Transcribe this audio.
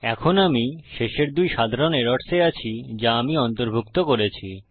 এখন আমি শেষের দুই সাধারণ এরর্স এ আছি যা আমি অন্তর্ভুক্ত করেছি